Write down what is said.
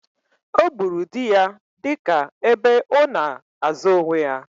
Ọ gburu di ya dị ka ebe ona azo onwe ya